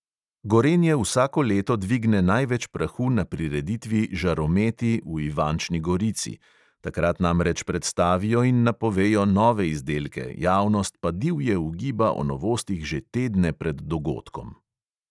Gorenje vsako leto dvigne največ prahu na prireditvi žarometi v ivančni gorici – takrat namreč predstavijo in napovejo nove izdelke, javnost pa divje ugiba o novostih že tedne pred dogodkom.